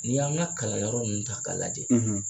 Ni y'an ka kalanyɔrɔ ninnu ta k'a lajɛ